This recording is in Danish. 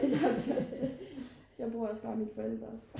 nej det er også det jeg bruger også bare mine forældres